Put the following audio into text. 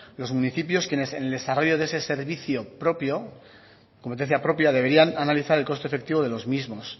los municipios quienes en el desarrollo de ese servicio propio de competencia propia deberían analizar el coste efectivo de los mismos